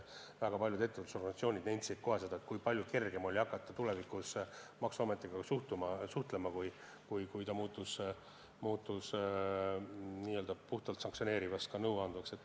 Väga paljud ettevõtlusorganisatsioonid nentisid kohe, kui palju kergem oli maksuametiga suhelda, kui ta oli muutunud n-ö puhtalt sanktsioneerivast asutusest ka nõuandvaks.